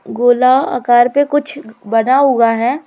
गोला आकार पे कुछ बना हुआ है।